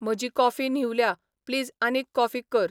म्हजी काॅफी न्हिवल्या. प्लीज आनीक काॅफी कर.